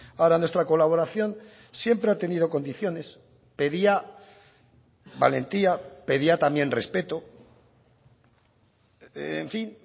ahora nuestra colaboración siempre ha tenido condiciones pedía valentía pedía también respeto en fin